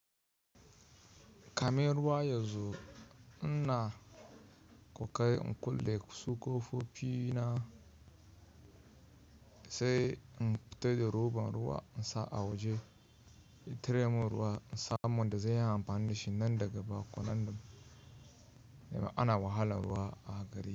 Kame ruwa yazo, ina kokari in kulle kusokofofi na sai in fita da roban ruwa in sa a waje. Intare mun ruwa insa mun da zai yi amfani dashi nan daga baya, ko nan da yamma ana wahalar ruwa a gari.